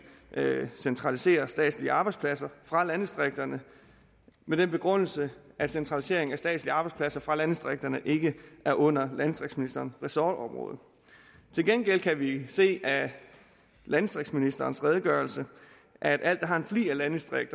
centraliserer statslige arbejdspladser fra landdistrikterne med den begrundelse at centralisering af statslige arbejdspladser fra landdistrikterne ikke er under landdistriktsministerens ressortområde til gengæld kan vi se af landdistriktsministerens redegørelse at alt der har en flig af landdistrikt